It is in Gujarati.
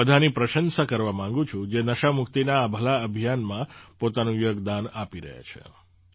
હું એ બધાંની પ્રશંસા કરવા માગું છું જે નશામુક્તિના આ ભલા અભિયાનમાં પોતાનું યોગદાન આપી રહ્યા છે